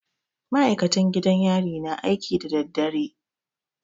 Maikatan gidan yari na aiki da dadadare